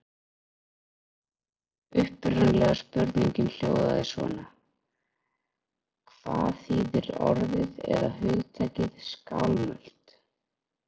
Upprunalega spurningin hljóðaði svona: Hvað þýðir orðið eða hugtakið skálmöld?